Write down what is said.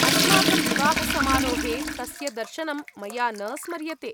अस्माकं विवाहसमारोहे तस्य दर्शनं मया न स्मर्यते।